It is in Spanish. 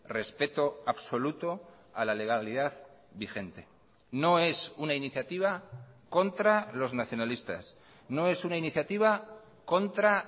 respeto absoluto a la legalidad vigente no es una iniciativa contra los nacionalistas no es una iniciativa contra